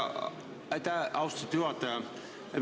Aitäh, austatud juhataja!